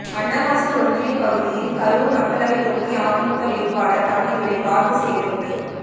அன்னவாசல் ஒன்றிய பகுதியில் கரூர் மக்களவை தொகுதி அதிமுக வேட்பாளர் தம்பிதுரை வாக்கு சேகரிப்பு